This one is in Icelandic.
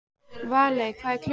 Valey, hvað er klukkan?